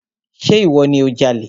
Ṣe ìwọ ni o jalè?